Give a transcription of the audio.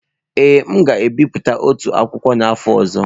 Ee, m ga-ebipụta otú akwụkwọ n'afọ ọzọ.